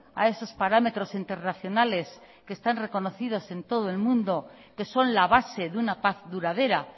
a esos parámetros internacionales que están reconocidos en todo el mundo y que son la base de una paz duradera